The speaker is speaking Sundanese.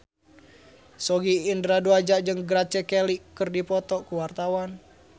Sogi Indra Duaja jeung Grace Kelly keur dipoto ku wartawan